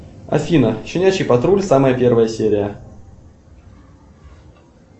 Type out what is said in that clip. афина щенячий патруль самая первая серия